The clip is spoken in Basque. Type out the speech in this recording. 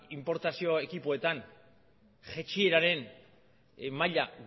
inportazio ekipoetan jaitsieraren maila